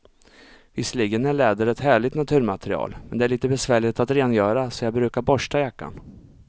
Visserligen är läder ett härligt naturmaterial, men det är lite besvärligt att rengöra, så jag brukar borsta jackan.